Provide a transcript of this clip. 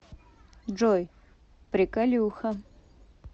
джой приколюха